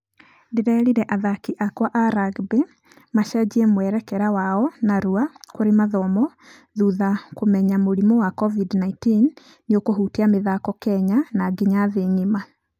Ndĩrerire athaki akwa a rugby macenjie mwerekera wao narua kũrĩ mathomo thutha kũmenya mũrimũ wa covid-19 nĩũkũhutia mĩthako kenya na nginya thĩ ngima.